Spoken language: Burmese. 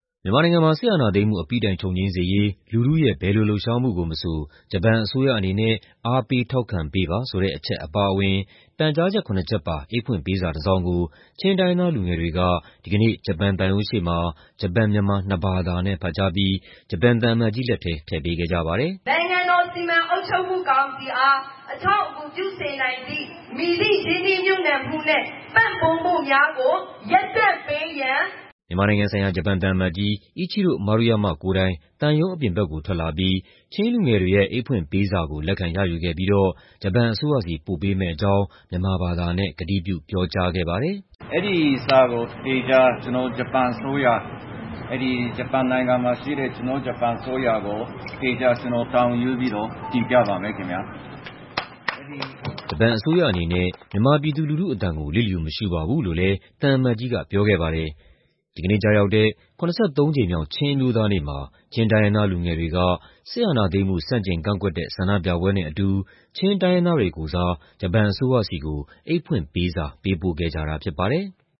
မြန်မာနိုင်ငံမှာ စစ်အာဏာသိမ်းမှု အပြီးတိုင်ချုပ်ငြိမ်းစေရေး လူထုရဲ့ ဘယ်လိုလှုပ်ရှားမှုကိုမဆို ဂျပန်အစိုးရအနေနဲ့ အားပေးထောက်ခံပေးပါ ဆိုတဲ့အချက် အပါအဝင် ပန်ကြားချက် ၇ ချက်ပါ အိတ်ဖွင့်ပေးစာတစောင်ကို ချင်းတိုင်းရင်းသား လူငယ်တွေက ဒီကနေ့ ဂျပန်သံရုံးရှေ့မှာ ဂျပန်-မြန်မာ နှစ်ဘာသာနဲ့ ဖတ်ကြားပြီး သံအမတ်ကြီးလက်ထဲ ထည့်ပေးခဲ့ကြပါတယ်။ “နိုင်ငံတော်စီမံအုပ်ချုပ်မှုကောင်စီအား အထောက်အကူ ပြုစေနိုင်သည့် မည်သည့်ရင်းနှီးမြှုပ်နှံမှုနဲ့ ပံ့ပိုးမှုများကို ရပ်တန့်ပေးရန်။” မြန်မာနိုင်ငံဆိုင်ရာ ဂျပန်သံအမတ်ကြီး Ichiro Maruyama ကိုယ်တိုင် သံရုံးအပြင်ဘက်ကို ထွက်လာပြီး ချင်းလူငယ်တွေရဲ့ အိတ်ဖွင့်ပေးစာကို လက်ခံရယူခဲ့ပြီးတော့ ဂျပန်အစိုးရဆီ ပို့ပေးမယ့်အကြောင်း ကတိပြု ပြောကြားခဲ့ပါတယ်။ “အဲဒီစာကို သေချာ ကျနော် ဂျပန်အစိုးရ၊ ဂျပန်နိုင်ငံမှာရှိတဲ့ ကျနော်တို့ ဂျပန်အစိုးရကို သေချာ ကျနော် တာဝန်ယူပြီးတော့ တင်ပြပါမယ်ခင်ဗျာ။” ဂျပန်အစိုးရအနေနဲ့ မြန်မာပြည်သူလူထုအသံကို လျစ်လျူမရှုပါဘူးလို့လည်း သံအမတ်ကြီးက ပြောခဲ့ပါတယ်။ ဒီကနေ့ကျရောက်တဲ့ ၇၃ ကြိမ်မြောက် ချင်းအမျိုးသားနေ့မှာ ချင်းတိုင်းရင်းသား လူငယ်တွေက စစ်အာဏာသိမ်းမှု ဆန့်ကျင်ကန့်ကွက်တဲ့ ဆန္ဒပြပွဲနဲ့အတူ လူမျိုးပေါင်းစုံ အထွေထွေသပိတ်ကော်မတီ ကိုယ်စား ဂျပန်အစိုးရဆီကို အိတ်ဖွင့်ပေးစာ ပေးပို့ခဲ့ကြတာ ဖြစ်ပါတယ်။